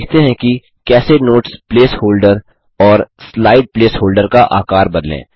अब सीखते हैं कि कैसे नोट्स प्लेस होल्डर और स्लाइड प्लेस होल्डर का आकार बदलें